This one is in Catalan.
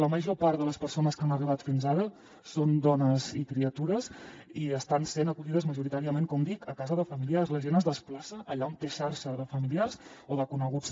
la major part de les persones que han arribat fins ara són dones i criatures i estan sent acollides majoritàriament com dic a casa de familiars la gent es desplaça allà on té xarxa de familiars o de coneguts